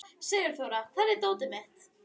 Sigurþóra, hvar er dótið mitt?